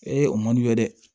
o man d'u ye dɛ